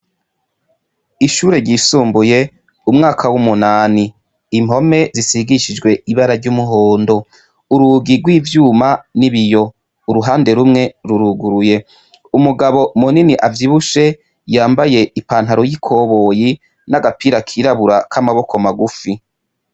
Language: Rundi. Ishure ryisumbuye umwaka wumunani impome zisigishijwe ibararyumuhondo urugi ryivyuma nibiyo uruhande rumwe ruruguruye umugabo munini avyibushe yambaye ipantalon yi koboyi nagapira kirabura kamaboko magufi